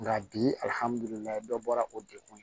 Nka bi dɔ bɔra o dekun